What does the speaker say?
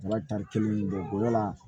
Ala tari kelen don yala